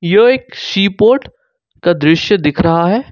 यो एक seaport का दृश्य दिख रहा है।